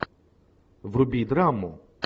вруби драму